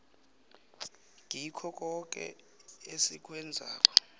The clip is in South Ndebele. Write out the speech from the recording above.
kikho koke esikwenzako